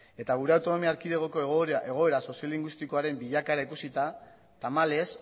eta gure autonomia erkidegoko egoera soziolinguistikoaren bilakaera ikusita tamalez